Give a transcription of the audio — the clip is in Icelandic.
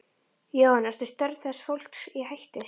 Jóhann: Eru störf þessa fólks í hættu?